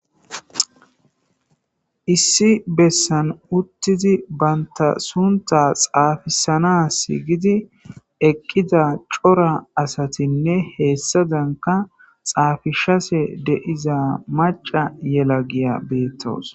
issi bessan uttizi baynta sunta xaafisanas gidi eqqiza cora asatinne heessadanka xaafishase deiza maca yela giya beettoos